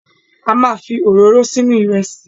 A ma fi òróró sínú Ìrẹ́sì